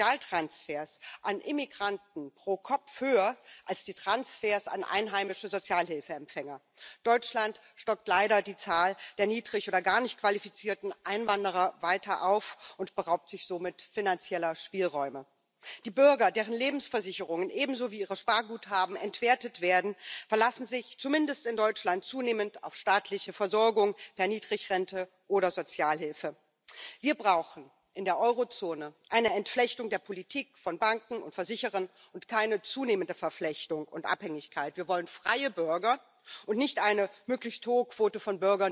Señora presidenta, es muy importante que tengamos este debate y, evidentemente, que nos avancemos a los retos demográficos cuando hablamos del sistema de pensiones. Pero el gran problema del sistema público de pensiones no es el envejecimiento de la población es la precariedad laboral y son los ataques a los derechos de los trabajadores, que han hecho que las cotizaciones caigan de forma muy importante y en estos momentos, efectivamente, algunos sistemas públicos de pensiones se encuentren en dificultades. Y claro que es un tema generacional, pero es un tema generacional porque la precariedad de los jóvenes hoy pone en riesgo las pensiones de hoy y del futuro en muchos de nuestros Estados miembros. Ese es el problema fundamental.